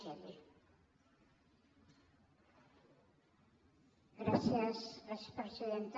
gràcies presidenta